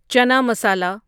چنا مسالا